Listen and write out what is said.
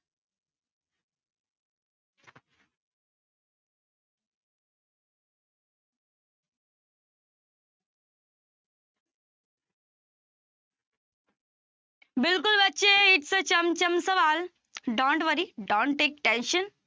ਬਿਲਕੁਲ ਬੱਚੇ ਇਹ ਸੀ ਚਮ ਚਮ ਸਵਾਲ don't worry, don't take tension